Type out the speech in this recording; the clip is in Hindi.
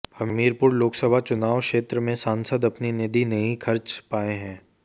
हमीरपुर लोकसभा चुनाव क्षेत्र में सांसद अपनी निधि नहीं खर्च पाए हैं